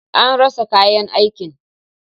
An rasa kayan aikin.